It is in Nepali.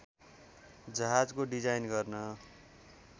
जहाजको डिजाइन गर्न